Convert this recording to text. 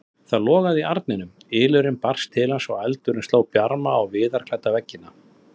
Það logaði í arni, ylurinn barst til hans og eldurinn sló bjarma á viðarklædda veggina.